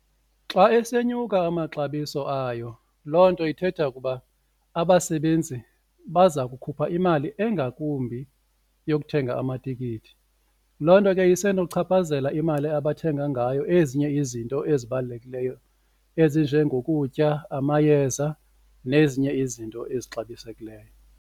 Xa esenyuka amaxabiso ayo loo nto ithetha ukuba abasebenzi baza kukhupha imali engakumbi yokuthenga amatikiti, loo nto ke isenochaphazela imali abathenga ngayo ezinye izinto ezibalulekileyo ezinje ngokutya, amayeza nezinye izinto ezixabisekileyo.